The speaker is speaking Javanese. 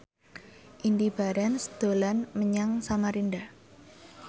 Indy Barens dolan menyang Samarinda